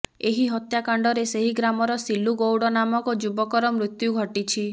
ଏହି ହତ୍ୟାକାଣ୍ଡରେ ସେହି ଗ୍ରାମର ସିଲୁ ଗୌଡ ନାମକ ଯୁବକର ମୃତ୍ୟୁ ଘଟିଛି